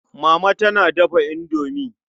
Mama tana dafa indomi.